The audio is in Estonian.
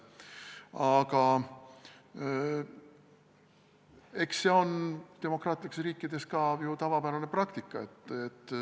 Aga eks see on demokraatlikes riikides ka ju tavapärane praktika.